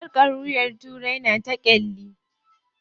Sarƙar wuyan turai na ta ƙyalli.